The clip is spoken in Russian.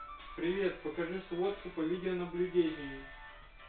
привет покажи сводку по видеонаблюдению